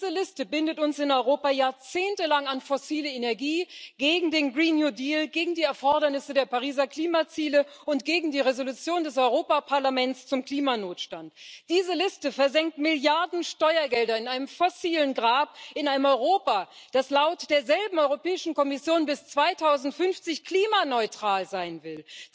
Diese Liste bindet uns in Europa jahrzehntelang an fossile Energie, gegen den gegen die Erfordernisse der Pariser Klimaziele und gegen die Entschließung des Europäischen Parlaments zum Klimanotstand. Diese Liste versenkt Milliarden Steuergelder in einem fossilen Grab, in einem Europa, das laut derselben Europäischen Kommission bis 2050 klimaneutral sein will.